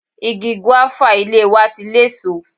Igi gúéfà ilé wa ti léso.